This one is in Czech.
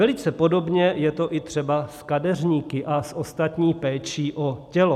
Velice podobně je to i třeba s kadeřníky a s ostatní péčí o tělo.